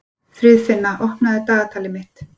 Friðfinna, opnaðu dagatalið mitt.